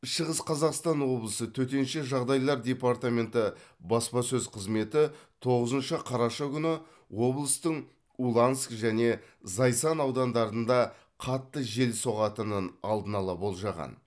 шығыс қазақстан облысы төтенше жағдайлар департаменті баспасөз қызметі тоғызыншы қараша күні облыстың уланск және зайсан аудандарында қатты жел соғатынын алдын ала болжаған